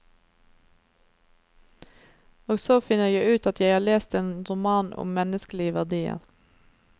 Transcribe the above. Og så finner jeg ut at jeg har lest en roman om menneskelige verdier.